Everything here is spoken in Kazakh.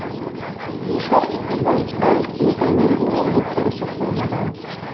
бишр ибн әл мутамирдің еңбектері сақталмаған